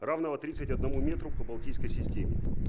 равного тридцать одному метру по балтийской системе